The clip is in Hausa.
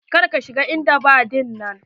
Kar ka shiga en daba dinnan.